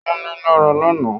Wọ́n ní lára lánàá